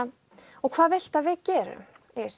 og hvað viltu að við gerum